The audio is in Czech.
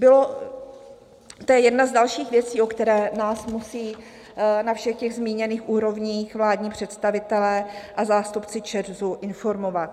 To je jedna z dalších věcí, o které nás musí na všech těch zmíněných úrovních vládní představitelé a zástupci ČEZu informovat.